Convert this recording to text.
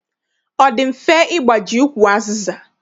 Ọ dị mfe ịgbaji ukwu azịza?